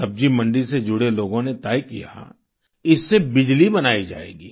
सब्जी मंडी से जुड़े लोगों ने तय किया इससे बिजली बनाई जाएगी